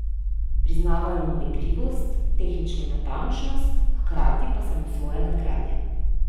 Priznavajo mu igrivost, tehnično natančnost, hkrati pa samosvoje nadgradnje.